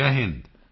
Jai Hind